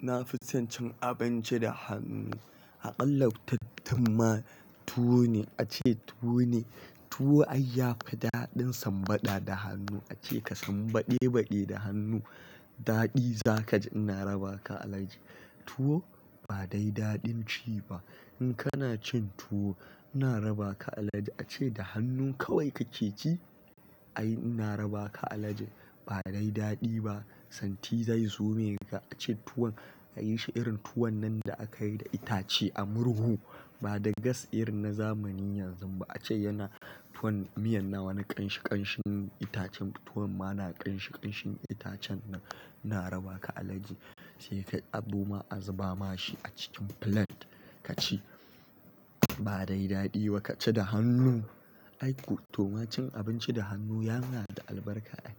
Na fi son cin abinci da hannu. A ƙalla tuttumma tuwo ne a ce tuwo ne. Tuwo ai ya fi daɗin sam bada da hannu. A ce ka sambade-bade da hannu daɗi za ka ji ina raba ka alaji. Tuwo ba dai daɗin ci ba. In kana cin tuwo ina raba ka alaji a ce da hannun kawai ka keke ci ai ina raba ka alaji ba dai daɗi ba santi zai zo me ka a ce tuwon ka yi shi irin tuwon nan da aka yi da itace a murhu ba da gas irin na zamanin yanzu ba a ce yana tuwon miyan na wani ƙan shi ƙanshin itacen tuwon ma na ƙan shi ƙanshin itacen nan ina raba ka alaji sai ka yi abo ma a zuba ma shi a cikin plate ka ci ba dai dadi ba kaci da hannu. Ai ko to ma cin abinci da hannu yana da albarka ai.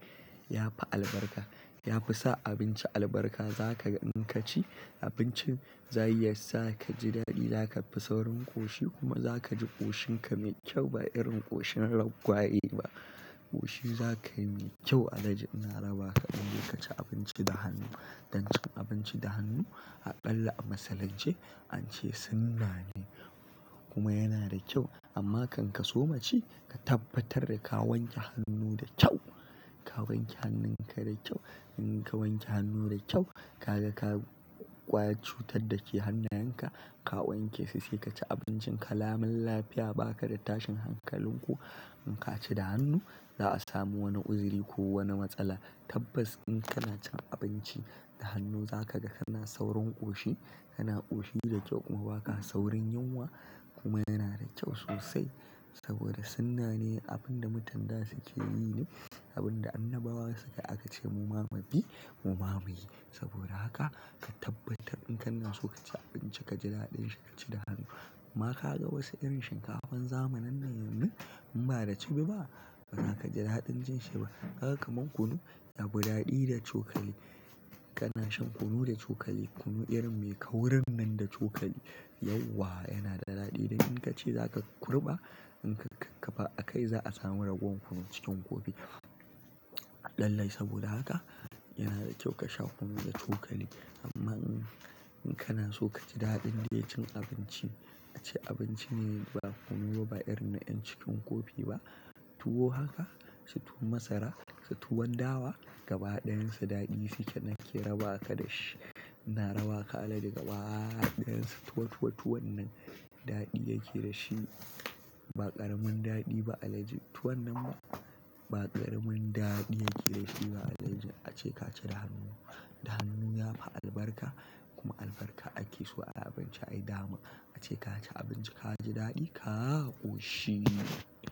Ya fi albarka. Ya fi sa abinci albarka za ka gan in ka ci abincin za ya yi sa ka ji daɗi za ka fi saurin ƙoshi kuma za ka ji ƙoshin ka mai kyau ba irin ƙoshin raggwaye ba. Ƙoshin za ka yi mai kyau alhaji ina raba ka idan ka ci abinci da hannu. Dan cin abinci da hannu a akalla a musulunce an ce sunna ne kuma yana da kyau amma kan ka so ma ci ka tabbatar da ka wanke hannu da kyau. Ka wanke hannun ka da kyau. In ka wanke hannu da kyau ka ga ka ƙwa cutar da ke hannayen ka ka wanke sai sai ka ci abincin ka. Lamin lafiya ba ka da tashin hankalin ko in ka ci da hannu za a samu wani uzuri ko wani matsala. Tabbas in kana cin abinci da hannu za ka ga kana saurin ƙoshi, kana ƙoshi da kyau kuma ba ka saurin yunwa kuma yana da kyau sosai saboda sunna ne abin da mutan da suke yi ne abin da annabawa su ka yi aka ce mu ma mubi mu mamuyi. Saboda haka ka tabbatar in kana so ka ci abinci ka ji daɗin shi ka ci da hannu. Ma ka ga wasu irin shinkafan zamanin nan yanzu in ba da cibi ba ba za ka ji daɗin jinshi shi ba. Kaga kaman kunu ya fi daɗi da cokali. Kana shan kunu da cokali kunu irin mai kaurin nan da cokali yauwa yana da daɗi da in ka ce za ka kurɓa in ka kafa a kai za a samu ragowan kunu cikin kofi. Lallai saboda haka yana da kyau ka sha kunu da cokali. Amma in, in kana so ka ji daɗin dai cin abinci a ce abinci ne ba kunu ba irin na ƴan cikin kofi ba. Tuwo haka su tuwon masara su tuwon dawa gaba dayan su dadi suke nake rabaka dashi ina rabaka kaga. Ɗayan su tuwo tuwo tuwon nan daɗi yake da shi ba ƙaramin daɗi ba alaji tuwon nan ma ba ƙaramin daɗi yake da shi ba alaji a ce ka ci da hannu. Da hannu yafi albarka kuma albarka ake so a abinci ai dama. A ce ka ci abinci ka ji daɗi ka ƙoshi.